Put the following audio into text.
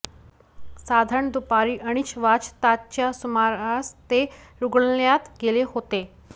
साधारण दुपारी अडीच वाजताच्या सुमारास ते रुग्णालयात गेले होते